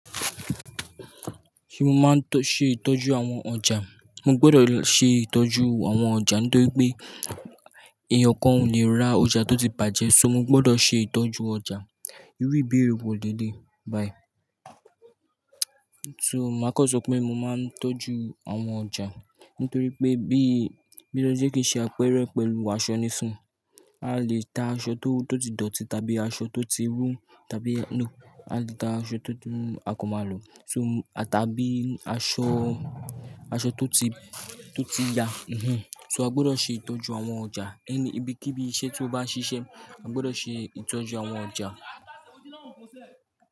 Ṣé mo máa ń tọ́ ṣe ìtọ́jú àwọn ọjà? Mo gbọdọ̀ ṣe ìtọ́jú àwọn ọjà nítorí pé eeyan kan ò ní ra ọjà tó ti bàjẹ́, ṣó mo gbọdọ̀ ṣe ìtọ́jú ọjà. Irú ìbéèrè wò léléyi. Bye. So, màá kan sọ pé mo máa ń tọ́jú àwọn ọjà nítorí pé bí, bi e je kí n ṣe àpeẹrẹ pẹ́lú aṣọ níìsínyi, a lè ta aṣọ tó, tó ti dọ̀tí tàbí aṣọ tó ti rú tàbí no, a lè ta aṣọ tó ti a kọ màlò. So, a tàbí aṣọ, aṣọ tó ti, tó ti ya, mhm. So, a gbọdọ̀ ṣe ìtọ́jú àwọn ọjà. Ẹni ibi kí bí iṣẹ́ tí o bá ń ṣiṣẹ́, a gbọdọ̀ ṣe ìtọ́jú àwọn ọjà.